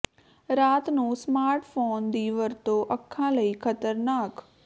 ਰਾਤ ਨੂੰ smart phone ਦੀ ਵਰਤੋਂ ਅੱਖਾਂ ਲਈ ਖ਼ਤਰਨਾਕ